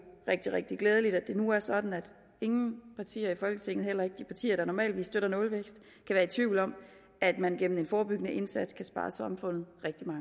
rigtig rigtig glædeligt at det nu er sådan at ingen partier i folketinget heller ikke de partier der normalt ville støtte nulvækst kan være tvivl om at man gennem en forebyggende indsats kan spare samfundet